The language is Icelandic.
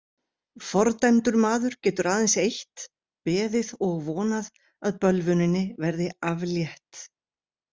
Fordæmdur maður getur aðeins eitt: beðið og vonað að bölvuninni verði aflétt.